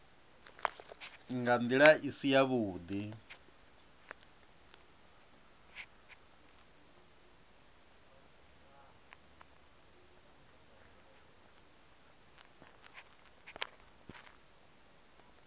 nga nḓila i si yavhuḓi